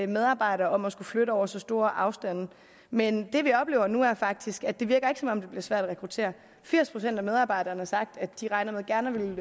medarbejdere om at skulle flytte over så store afstande men det vi oplever nu er faktisk at det ikke virker som om det bliver svært at rekruttere firs procent af medarbejderne har sagt at de regner med gerne